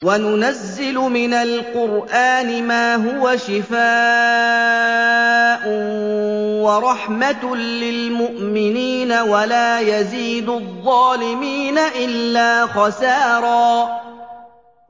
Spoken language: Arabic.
وَنُنَزِّلُ مِنَ الْقُرْآنِ مَا هُوَ شِفَاءٌ وَرَحْمَةٌ لِّلْمُؤْمِنِينَ ۙ وَلَا يَزِيدُ الظَّالِمِينَ إِلَّا خَسَارًا